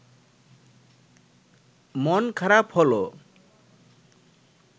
মন খারাপ হলো